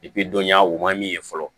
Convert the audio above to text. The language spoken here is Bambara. dɔnya o man min ye fɔlɔ